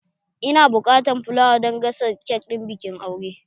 Ina buƙatar filawa don gasa kek ɗin bikin aure